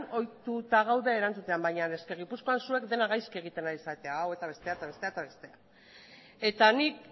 ohituta gaude erantzuten baina eske gipuzkoan zuek dena gaizki egiten ari zarete eta hau eta bestea eta bestea eta bestea eta nik